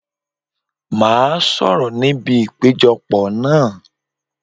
Màá sọ̀rọ̀ ní ibi ìpéjọ pọ̀ náà.